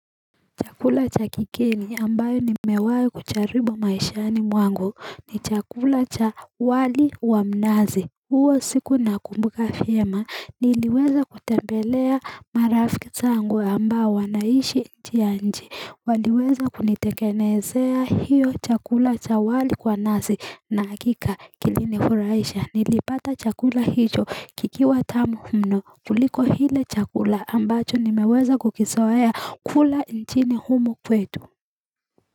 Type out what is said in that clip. Chakula cha kigeni ambayo ni mewai kucharibu maishani mwangu ni chakula cha wali wa mnazi. Uo siku na kumbuka fiema niliweza kutembelea marafi zango ambayo wanaishi njianji. Waliweza kunitekenezea hiyo chakula cha wali kwa nazi na akika kilinifuraisha. Nilipata chakula hicho kikiwa tamu mno kuliko hile chakula ambacho nimeweza kukisawaya kula nchini humo kwetu.